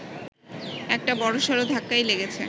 একটা বড়সড় ধাক্কাই লেগেছে